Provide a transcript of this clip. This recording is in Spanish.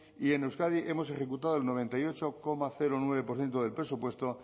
y en euskadi hemos ejecutado el noventa y ocho coma nueve por ciento del presupuesto